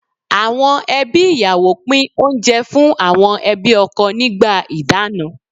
Àwọn ẹbí ìyàwó pín oúnjẹ fún àwọn ẹbí ọkọ nígbà ìdáná.